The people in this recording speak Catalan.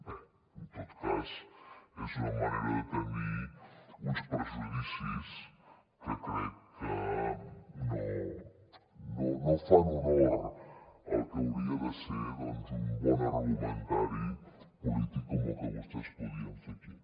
bé en tot cas és una manera de tenir uns prejudicis que crec que no fan honor al que hauria de ser doncs un bon argumentari polític com el que vostès podien fer aquí